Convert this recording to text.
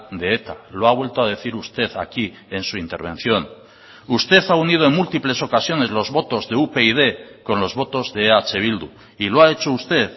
de eta lo ha vuelto a decir usted aquí en su intervención usted ha unido en múltiples ocasiones los votos de upyd con los votos de eh bildu y lo ha hecho usted